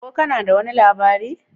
Ko kana da wani labari?